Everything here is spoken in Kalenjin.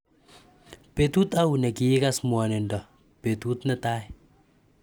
Petut au ne kiikas mwanindo petut ne tai .